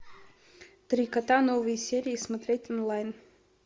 три кота новые серии смотреть онлайн